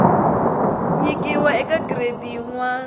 nyikiwa eka giredi yin wana